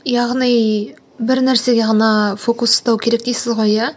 яғни бір нәрсеге ғана фокус ұстау керек дейсіз ғой иә